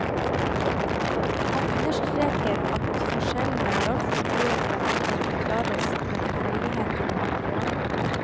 Han understreker at forskjellene er altfor store til at de kan forklares med tilfeldigheter i materialet.